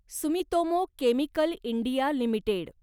Sumitomo chemical India limited